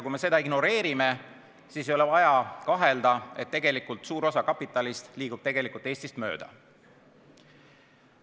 Kui me seda ignoreerime, siis ei ole vaja kahelda, et suur osa kapitalist liigub Eestist mööda.